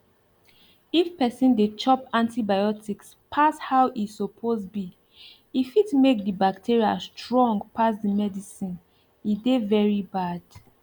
if person dey chop antibiotics pass how e suppose be e fit make the bacteria strong pass the medicine e dey very bad